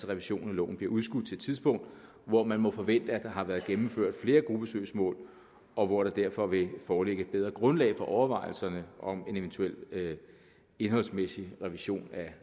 revisionen af loven bliver udskudt til et tidspunkt hvor man må forvente at der har været gennemført flere gruppesøgsmål og hvor der derfor vil foreligge et bedre grundlag for overvejelserne om en eventuel indholdsmæssig revision